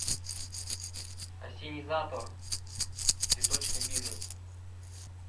ассенизатор цветочный бизнес